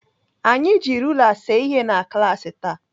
Anyị ji rula see ihe na klaasị taa.